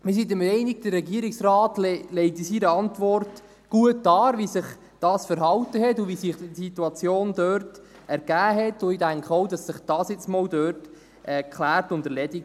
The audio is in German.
Wir sind der Meinung, dass der Regierungsrat in seiner Antwort gut darlegt, wie sich dies verhalten und wie sich die Situation dort ergeben hat, und ich denke auch, das hat sich nun mal geklärt und erledigt.